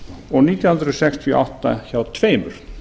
og nítján hundruð sextíu og átta hjá tveimur